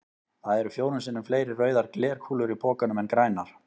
Það eru fjórum sinnum fleiri rauðar glerkúlur í pokanum en grænar.